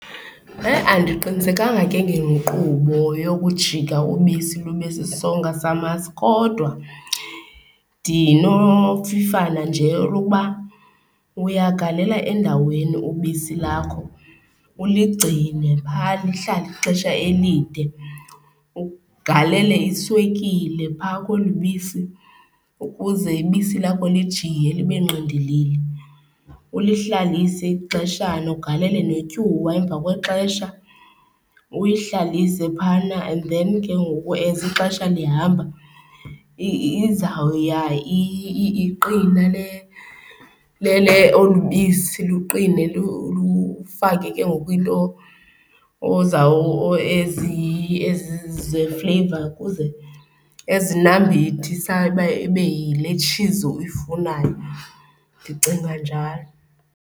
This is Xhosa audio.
He andiqinisekanga ke ngenkqubo yokujika ubisi lube sisonka samasi kodwa ndinofifana nje lokuba uyagalela endaweni ubisi lakho, uligcine phaa lihlale ixesha elide. Ugalele iswekile phaa kweli bisi ukuze ibisi lakho lijiye libe ngqindilili. Ulihlalise ixeshana, ugalele netyuwa emva kwexesha uyihlalise phayana and then ke ngoku as ixesha lihamba izawuya iqina, olu bisi luqine. Lufake ke ngoku iinto ze-flavour ukuze, ezinambithisayo uba ibe yile tshizi uyifunayo. Ndicinga njalo.